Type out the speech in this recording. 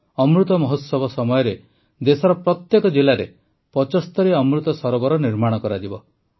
ଅମୃତ ମହୋତ୍ସବ ସମୟରେ ଦେଶର ପ୍ରତ୍ୟେକ ଜିଲାରେ ୭୫ ଅମୃତ ସରୋବର ନିର୍ମାଣ କରାଯିବ